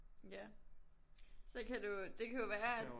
Ja så kan du det kan jo være at